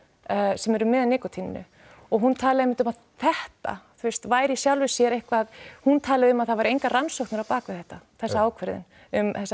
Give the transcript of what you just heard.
sem eru með nikótíninu og hún talaði einmitt um að þetta þú veist væri í sjálfu sér eitthvað hún talaði um að það væru engar rannsóknir á bak við þetta þessa ákvörðun um